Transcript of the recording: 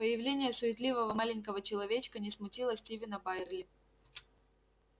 появление суетливого маленького человечка не смутило стивена байерли